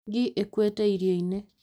Ngi ĩkuĩte irioinĩ